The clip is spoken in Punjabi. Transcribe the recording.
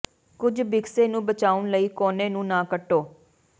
ਕੁੱਝ ਬਿਕਸੇ ਨੂੰ ਬਚਾਉਣ ਲਈ ਕੋਨੇ ਨੂੰ ਨਾ ਕੱਟੋ